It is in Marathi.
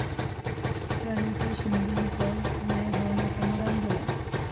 प्रणिती शिंदेंचं न्यायभवनासमोर आंदोलन